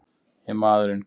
Ég er maðurinn!